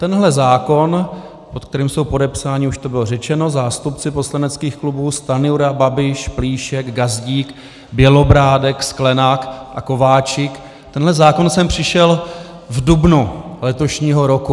Tenhle zákon, pod kterým jsou podepsáni, už to bylo řečeno, zástupci poslaneckých klubů Stanjura, Babiš, Plíšek, Gazdík, Bělobrádek, Sklenák a Kováčik, tenhle zákon sem přišel v dubnu letošního roku.